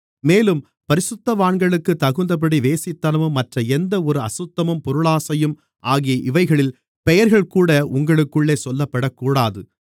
மேலும் பரிசுத்தவான்களுக்குத் தகுந்தபடி வேசித்தனமும் மற்ற எந்த ஒரு அசுத்தமும் பொருளாசையும் ஆகிய இவைகளின் பெயர்கள்கூட உங்களுக்குள்ளே சொல்லப்படக்கூடாது